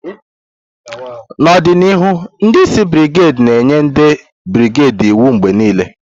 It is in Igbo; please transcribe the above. N'ọdịnihu, ndi isi brigedi ga-enye ndị brigedi iwu mgbe niile.